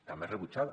també rebutjada